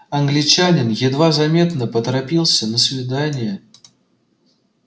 англичанин едва заметно поторопился на свидание